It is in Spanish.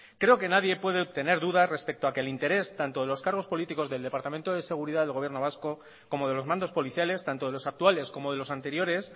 creo que nadie puede tener dudas respecto a que el interés tanto de los cargos políticos del departamento de seguridad del gobierno vasco como de los mandos policiales tanto de los actuales como de los anteriores